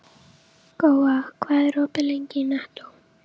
Góa, hvað er opið lengi í Nettó?